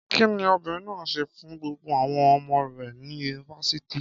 Kí ni obìnrin náà ṣe fún gbogbo àwọn ọmọ rẹ̀ ní Yunifásítì?